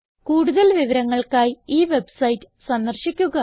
കൂടുതൽ വിവരങ്ങൾക്കായി ഈ വെബ്സൈറ്റ് സന്ദർശിക്കുക